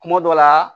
Kuma dɔ la